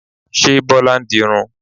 Ṣé Bọlá ń dirun?